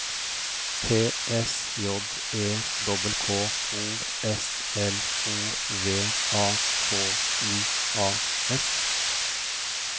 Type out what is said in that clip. T S J E K K O S L O V A K I A S